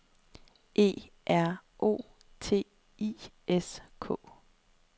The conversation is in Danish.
E R O T I S K